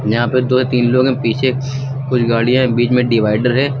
यहां पे दो या तीन लोग हैं पीछे कुछ गाड़ियां हैं बीच में डिवाइडर है।